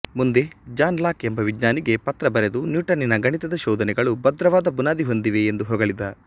ಮುಂದೆ John Locke ಎಂಬ ವಿಜ್ಞಾನಿಗೆ ಪತ್ರ ಬರೆದು ನ್ಯೂಟನ್ನನ ಗಣಿತದ ಶೋಧನೆಗಳು ಭದ್ರವಾದ ಬುನಾದಿ ಹೊಂದಿವೆ ಎಂದು ಹೊಗಳಿದ